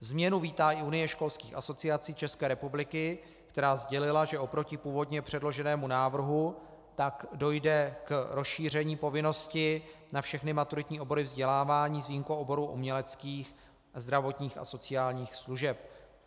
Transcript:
Změnu vítá i Unie školských asociací České republiky, která sdělila, že oproti původně předloženému návrhu tak dojde k rozšíření povinnosti na všechny maturitní obory vzdělávání s výjimkou oborů uměleckých, zdravotních a sociálních služeb.